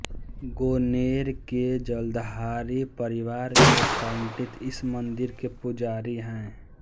गोनेर के जलधारी परिवार के पंडित इस मंदिर के पुजारी हैं